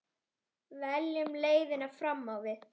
Veljum leiðina fram á við.